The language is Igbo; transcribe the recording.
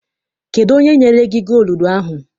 Kedụ onye nyere gị gooludu ahụ?